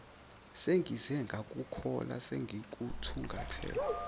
sengize ngakuthola sengikuthungathe